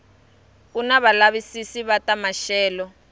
kuni valavisisi va ta maxelo